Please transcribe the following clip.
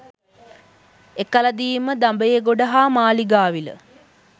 එකලදීම දඹේගොඩ හා මාලිගාවිල